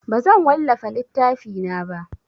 Bazan wallafa littafina ba.